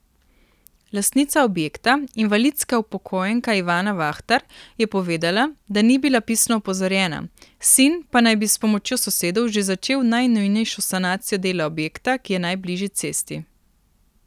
Lastnica objekta, invalidska upokojenka Ivana Vahtar, je povedala, da ni bila pisno opozorjena, sin pa naj bi s pomočjo sosedov že začel najnujnejšo sanacijo dela objekta, ki je najbližje cesti.